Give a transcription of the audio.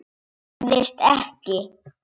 Það gerðist ekki.